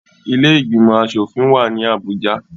Ilé ìgbìmọ̀ asòfin wà ní Abuja